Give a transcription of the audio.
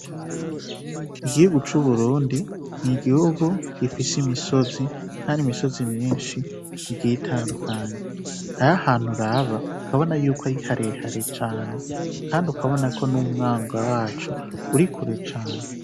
Igihugu c'UBURUNDI n'igihugu gifise imisozi Kandi imisozi myinshi igiye itandukanye, hariho ahantu uraba ukabona yuko ari harehare cane kandi ukabonako n'umwonga waco urikure cane.